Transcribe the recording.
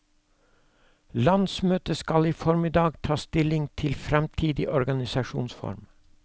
Landsmøtet skal i formiddag ta stilling til fremtidig organisasjonsform.